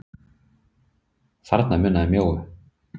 Þarna munaði mjóu.